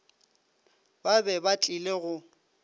ba be ba tlile go